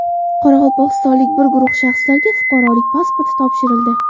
Qoraqalpog‘istonlik bir guruh shaxslarga fuqarolik pasportlari topshirildi.